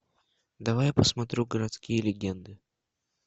давай я посмотрю городские легенды